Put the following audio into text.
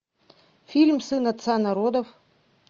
фильм сын отца народов